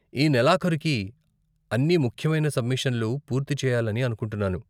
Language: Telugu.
ఈ నెలాఖరుకి అన్ని ముఖ్యమైన సబ్మిషన్లు పూర్తి చెయ్యాలని అనుకుంటున్నాను.